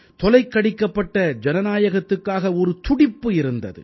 தொலைக்கடிக்கப்பட்ட ஜனநாயகத்துக்காக ஒரு துடிப்பு இருந்தது